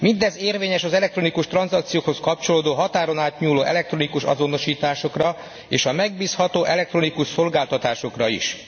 Mindez érvényes az elektronikus tranzakciókhoz kapcsolódó, határon átnyúló elektronikus azonosításokra és a megbízható elektronikus szolgáltatásokra is.